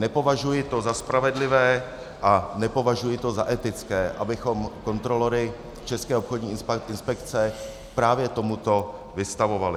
Nepovažuji to za spravedlivé a nepovažuji to za etické, abychom kontrolory České obchodní inspekce právě tomuto vystavovali.